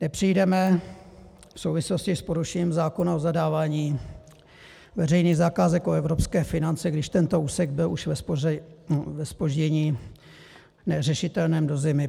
Nepřijdeme v souvislosti s porušením zákona o zadávání veřejných zakázek o evropské finance, když tento úsek byl už ve zpoždění neřešitelném do zimy?